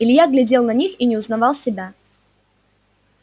илья глядел на них и не узнавал себя